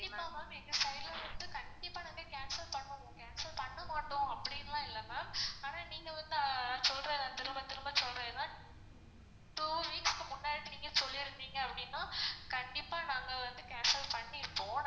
கண்டிப்பா ma'am எங்க side ல இருந்து கண்டிப்பா நாங்க cancel பண்ணுவோம் cancel பண்ணமாட்டோம் அப்படிலான் இல்ல ma'am அனா நீங்க வந்து சொல்ற திரும்ப திரும்ப சொல்றீங்க ma'am. two weeks க்கு முன்னாடி நீங்க சொல்லிருந்தீங்க அப்படினா கண்டிப்பா நாங்க வந்து cancel பண்ணிருப்போம்.